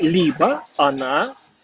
либо она